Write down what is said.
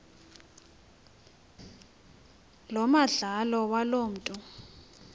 lomandlalo waloo mntu